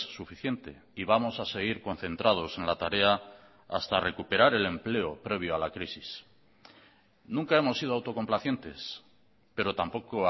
suficiente y vamos a seguir concentrados en la tarea hasta recuperar el empleo previo a la crisis nunca hemos sido autocomplacientes pero tampoco